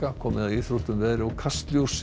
komið að íþróttum veðri og Kastljósi